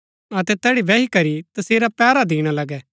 अतै तैड़ी बैही करी तसेरा पैहरा दिणा लगै